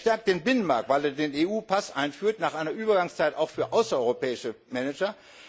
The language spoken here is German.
Er stärkt den Binnenmarkt, weil er den EU Pass einführt, nach einer Übergangszeit auch für außereuropäische Manager.